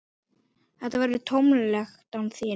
Það verður tómlegt án þín.